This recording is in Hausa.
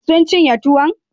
Sun cinye tuwon?